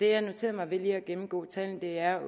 har noteret mig ved lige at gennemgå tallene er